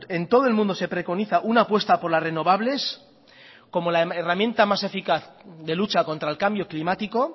en todo el mundo se preconiza una apuesta por las renovables como la herramienta más eficaz de lucha contra el cambio climático